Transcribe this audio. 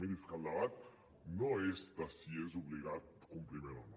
miri és que el debat no és de si és d’obligat compliment o no